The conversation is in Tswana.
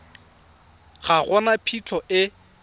ga go na phitlho e